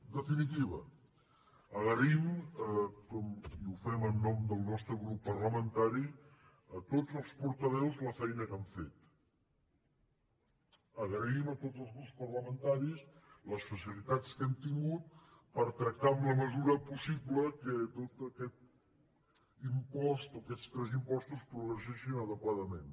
en definitiva agraïm i ho fem en nom del nostre grup parlamentari a tots els portaveus la feina que han fet agraïm a tots els grups parlamentaris les facilitats que hem tingut per tractar en la mesura possible que tot aquest impost o aquests tres impostos progressessin adequadament